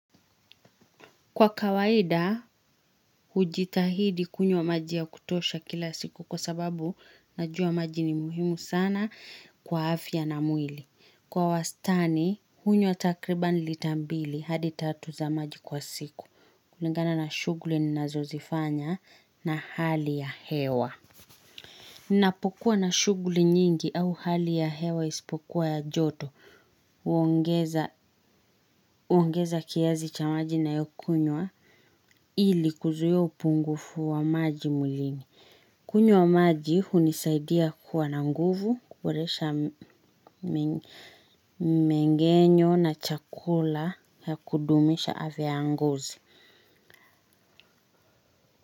Kwa kawaida, hujitahidi kunywa maji ya kutosha kila siku kwa sababu najua maji ni muhimu sana kwa afya na mwili. Kwa wastani, hunywa takriban lita mbili hadi tatu za maji kwa siku. Kulingana na shughuli ninazozifanya na hali ya hewa. Ninapokuwa na shughuli nyingi au hali ya hewa isipokuwa ya joto huongeza kiasi cha majina ninayokunywa ili kuzuia upungufu wa maji mwilini. Kunywa maji hunisaidia kuwa na nguvu, kuboresha mengenyo na chakula ya kudumisha afya ya ngozi.